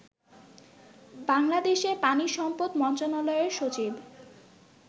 বাংলাদেশের পানিসম্পদ মন্ত্রনালয়ের সচিব